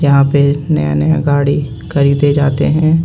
यहां पे नया नया गाड़ी खरीदें जाते है.